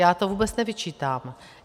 Já to vůbec nevyčítám.